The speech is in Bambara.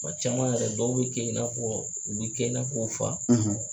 caman yɛrɛ dɔw bɛ kɛ i n'a fɔ u bɛ kɛ i n'a fɔ u fa.